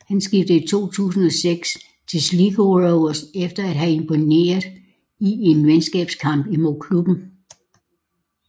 Han skiftede i 2006 til Sligo Rovers efter at have imponeret i en venskabskamp imod klubben